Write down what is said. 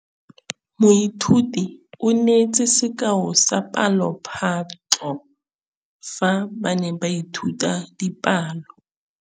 Moithuti o neetse sekaô sa palophatlo fa ba ne ba ithuta dipalo.